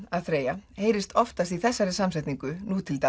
að þreyja heyrist oftast í þessari samsetningu